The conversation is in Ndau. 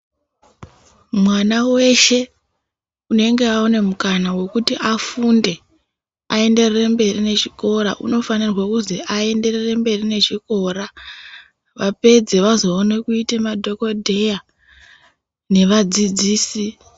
Mwana weshe unenge aona mukana wekuti afunde aenderere mberi nechikora unofanirwe kuzi aenderere mberi nechikora vapedza vozone kuite madhokodheya nevadzidzisi.